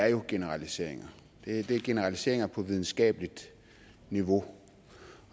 er jo generaliseringer det er generaliseringer på videnskabeligt niveau